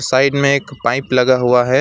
Side में एक pipe लगा हुआ है।